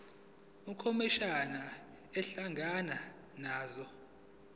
ukhomishana ehlangana nazo